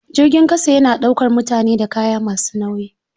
Jirgin ƙasa yana ɗaukar mutane da kaya masu nauyi.